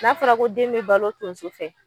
n'a fɔla ko den bɛ balo tonso fɛ